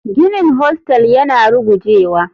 Ginin hostel yana rugujewa.